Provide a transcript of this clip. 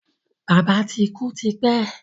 Bàbá ti kú ti pẹ́